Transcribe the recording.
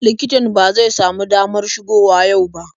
Likitan ba zai samu damar shigo wa yau ba.